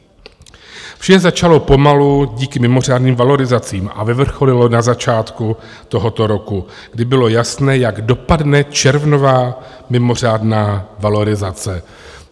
Vše začalo pomalu díky mimořádným valorizacím a vyvrcholilo na začátku tohoto roku, kdy bylo jasné, jak dopadne červnová mimořádná valorizace.